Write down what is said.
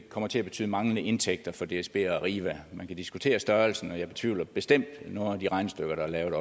kommer til at betyde manglende indtægter for dsb og arriva man kan diskutere størrelsen og jeg betvivler bestemt nogle af de regnestykker der er lavet